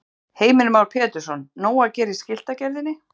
Heimir Már Pétursson: Nóg að gera í skiltagerðinni?